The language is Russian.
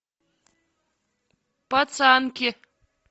пацанки